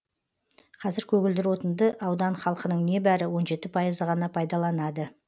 қазір көгілдір отынды аудан халқының небәрі он жеті пайызы ғана пайдаланады